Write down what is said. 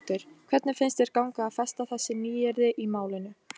Birta Björnsdóttir: Hvernig finnst þér ganga að festa þessi nýyrði í málinu?